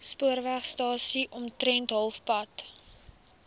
spoorwegstasie omtrent halfpad